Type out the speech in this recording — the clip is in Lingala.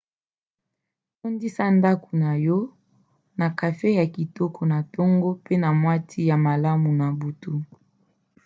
tondisa ndako na yo na kafe ya kitoko na ntongo mpe mwa ti ya malamu na butu